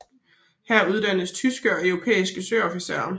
Her uddannes tyske og europæiske søofficerer